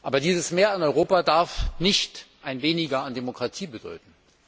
Aber dieses Mehr an Europa darf nicht ein Weniger an Demokratie bedeuten.